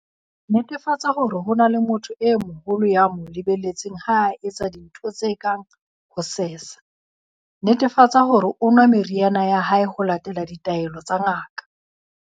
Netefatsa hore ho ba le motho e moholo ya mo le-beletseng ha a etsa dintho tse kang ho sesa. Netefatsa hore o nwa meriana ya hae ho latela ditaelo tsa ngaka.